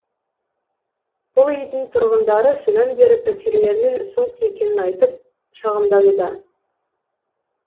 бұл үйдің тұрғындары содан бері пәтерлерінің суық екенін айтып шағымдануда